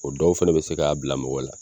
O dɔw fɛnɛ be se k'a bila mɔgɔ la